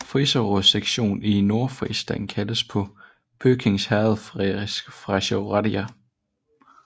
Friserrådets sektion i Nordfrisland kaldes på bøkingherredfrisisk Frasche Rädj